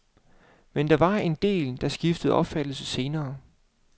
Men der var en del, der skiftede opfattelse senere.